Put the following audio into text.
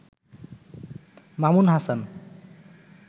Mamun Hasan